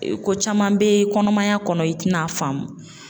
Ko caman bɛ kɔnɔmaya kɔnɔ i tina a faamu.